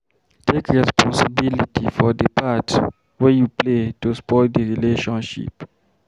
Take responsibility for di part wey you play to spoil di relationship